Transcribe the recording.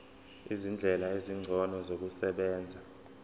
izindlela ezingcono zokusebenza